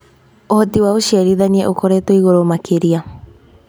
ũhoti wa ũciarithania ũkoretwo igũrũ makĩria.